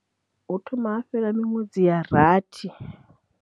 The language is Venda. Hu thoma ha fhela miṅwedzi ya rathi.